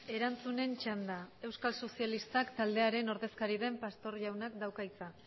erantzunen txanda euskal sozialistak taldearen ordezkari den pastor jaunak dauka hitza